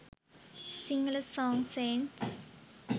sinhala songs sayings